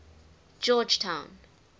georgetown